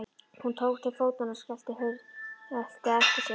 Hún tók til fótanna og skellti á eftir sér.